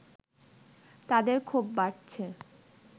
তাদের ক্ষোভ বাড়ছে